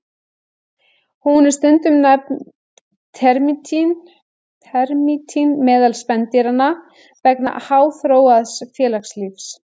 Hún er stundum nefnd termítinn meðal spendýranna vegna háþróaðs félagslífs.